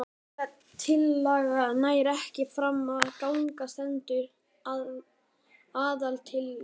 Ef breytingatillaga nær ekki fram að ganga stendur aðaltillaga.